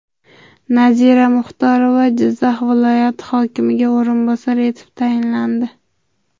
Nazira Muxtorova Jizzax viloyati hokimiga o‘rinbosar etib tayinlandi.